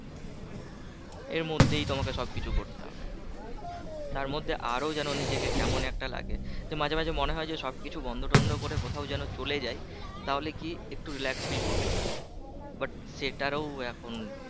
এর মধ্যেই তোমাকে সব কিছু করতে হবে তার মধ্যে আরো যেন নিজেকে কেমন একটা লাগে যে মাঝে মাঝে মনে হয় যে সব কিছু বন্ধ টন্ধ করে কোথাও যেন চলে যাই তাহলে কি একটু relax feel করতে পারি but সেটারও এখন